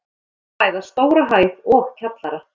Um er að ræða stóra hæð og kjallara.